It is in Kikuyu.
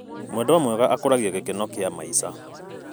Mwendwa mwega akũragia gĩkeno kĩa maica.